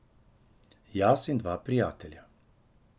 Jaz in dva prijatelja.